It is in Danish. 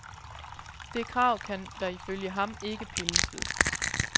Det krav kan der ifølge ham ikke pilles ved.